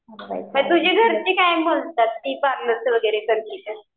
तुझी घरची वगैरे काय म्हणतात ती पार्लरचं वगैरे करती तर?